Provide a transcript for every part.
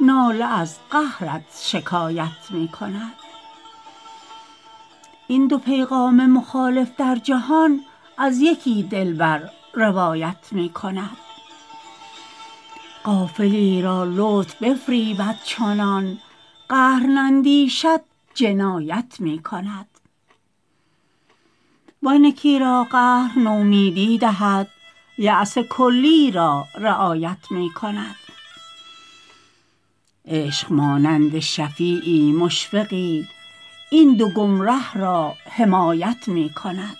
ناله از قهرت شکایت می کند این دو پیغام مخالف در جهان از یکی دلبر روایت می کند غافلی را لطف بفریبد چنان قهر نندیشد جنایت می کند وان یکی را قهر نومیدی دهد یأس کلی را رعایت می کند عشق مانند شفیعی مشفقی این دو گمره را حمایت می کند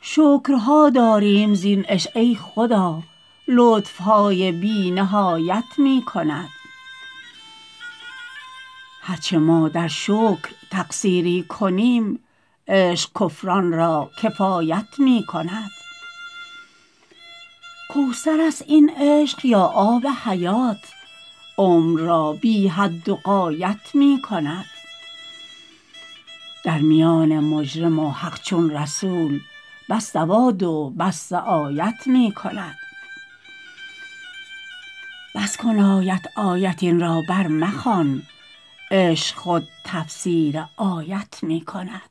شکرها داریم زین عشق ای خدا لطف های بی نهایت می کند هر چه ما در شکر تقصیری کنیم عشق کفران را کفایت می کند کوثر است این عشق یا آب حیات عمر را بی حد و غایت می کند در میان مجرم و حق چون رسول بس دوادو بس سعایت می کند بس کن آیت آیت این را برمخوان عشق خود تفسیر آیت می کند